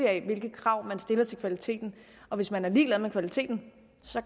af hvilke krav man stiller til kvaliteten og hvis man er ligeglad med kvaliteten